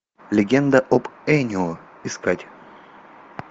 легенда об энио искать